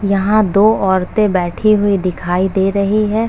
यहां दो औरतें बैठी हुई दिखाई दे रही है |